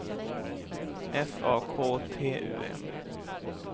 F A K T U M